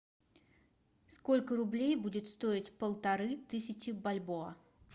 сколько рублей будет стоить полторы тысячи бальбоа